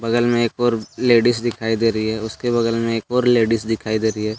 बगल में एक और लेडिस दिखाई दे रही है उसके बगल में और एक लेडिस दिखाई दे रही है।